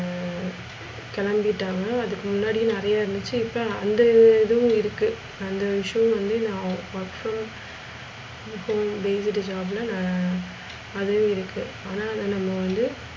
ஹம் கிளம்பிட்டாங்க அதுக்கு முண்டி நெறைய இருந்துச்சி இப்ப அந்த இதுவும் இருக்கும் அந்த விஷயம் வந்து நான் work from. அப்போ based job ல நான் அதையும் இருக்கு ஆனா அதா நாம வந்து,